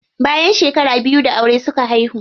Bayan shekara biyu da aure suka haihu.